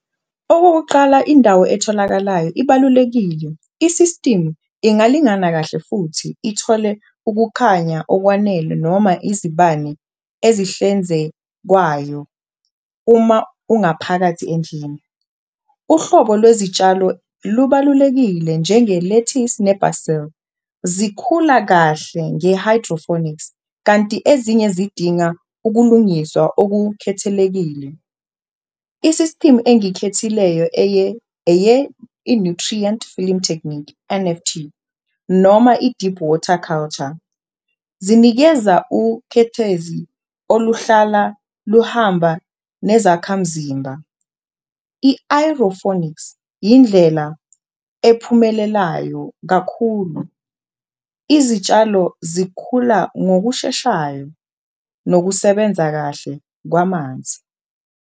Okokuqala indawo etholakalayo ibalulekile, isistimu ingalingana kahle futhi ithole ukukhanya okwanele noma izibane ezihlenzekwayo uma ungaphakathi endlini. Uhlobo lwezitshalo lubalulekile njengelethisi nebhazili, zikhula kahle nge-hydrophonics kanti ezinye zidinga ukulungiswa okukhethelekile. Isistimu engiyikhethile leyo eye i-nutrient film technique, N_F_T noma i-deep water culture, zinikeza ukhethezi oluhlala luhamba nezakhamzimba. I-ayrophonics indlela ephumelelayo kakhulu, izitshalo zikhula ngokusheshayo nokusebenza kahle kwamanzi.